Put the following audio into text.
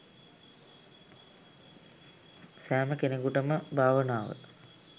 සැම කෙනෙකුටම භාවනාව